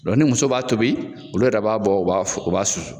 Dɔn ni muso b'a tobi olu yɛrɛ b'a bɔ u b'a u b'a susu.